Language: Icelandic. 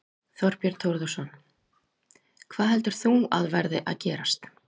Þorbjörn Þórðarson: Hvað heldur þú að verði að gerast?